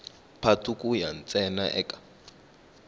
patu ku ya ntsena eka